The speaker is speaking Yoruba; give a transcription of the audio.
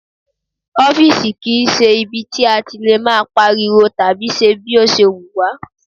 Ọ́fìsì kì í ṣe ibi tí a ti lè máa pariwo tàbí ṣe bí ó ṣe wùn wá